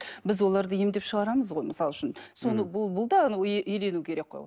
біз оларды емдеп шығарамыз ғой мысалы үшін соны бұл бұл да еленуі керек қой